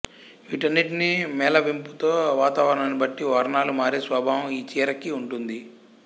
వీటన్నింటి మేళవింపుతో వాతావరణాన్ని బట్టి వర్ణాలు మారే స్వభావం ఈ చీరకి ఉంటుంది